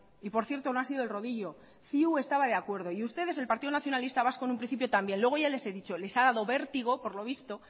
y por cierto no han sido el rodillo ciu estaba de acuerdo y ustedes el partido nacionalista vasco en un principio también luego ya les he dicho les ha dado vértigo por lo visto